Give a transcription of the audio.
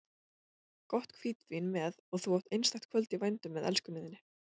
Gott hvítvín með og þú átt einstakt kvöld í vændum með elskunni þinni.